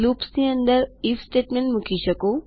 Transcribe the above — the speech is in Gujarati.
લૂપ્સની અંદર આઇએફ સ્ટેટમેંનટ્સ મૂકી શકો